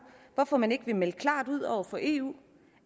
hvorfor man ikke vil melde klart ud over for eu